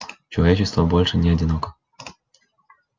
человечество больше не одиноко